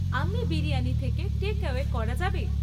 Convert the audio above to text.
আম্মি বিরিয়ানি থেকে টেকঅ্যাওয়ে করা যাবে?